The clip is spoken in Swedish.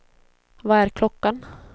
Vad är klockan